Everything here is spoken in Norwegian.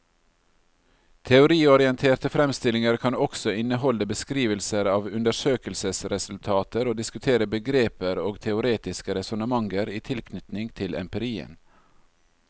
Teoriorienterte fremstillinger kan også inneholde beskrivelser av undersøkelsesresultater og diskutere begreper og teoretiske resonnementer i tilknytning til empirien.